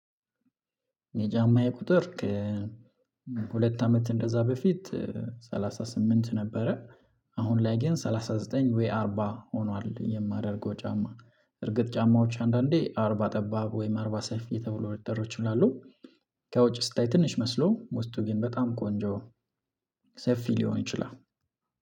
የጫማዬ ቁጥር ሁለት አመት እንደዛ በፊት ሰላሳ ስምንት ነበረ አሁን ላይ ጌን ሰላሳ ዘጠኝ ወይ ዌይ አርባ ሆኗል። የማደርገው ጫማ እርግጥ ጫማዎች አንዳንዴ አርባ ጠባብ ወይም አርባ ሰይፍዬ ተብሎ ሊጠሩ ይችላሉ። ከውጭ ስታይ ትንሽ መስሎ ውስጡ ግን በጣም ቆንጆ ሰፊ ሊሆን ይችላል።